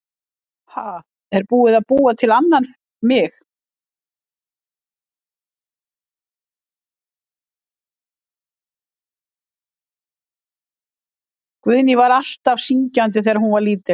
Guðný: Var hún alltaf syngjandi þegar hún var lítil?